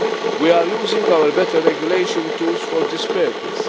We are using our better regulation tools for this purpose.